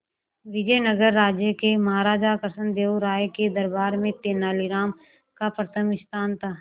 विजयनगर राज्य के महाराजा कृष्णदेव राय के दरबार में तेनालीराम का प्रथम स्थान था